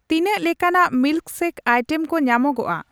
ᱛᱤᱱᱟᱹᱜ ᱞᱮᱠᱟᱱᱟᱜ milkshake item ᱧᱟᱢᱚᱜᱚᱠᱼᱟ ?